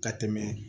Ka tɛmɛ